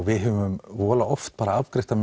við höfum voðalega oft afgreitt það